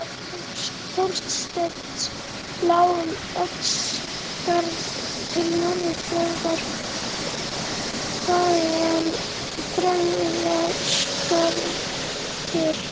Leið Þorsteins lá um Oddsskarð til Norðfjarðar, þaðan Drangaskarð til